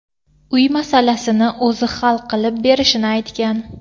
uy masalasini o‘zi hal qilib berishini aytgan.